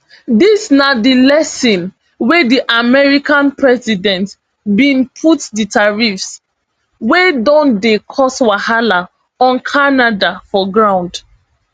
dis na di reason wey di american president bin put di tariffs wey don dey cause wahala on canada for ground